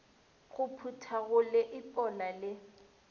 go phutha go leipola le